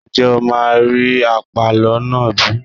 Ǹjẹ́ o máa rí àpàlọ́ náà bí?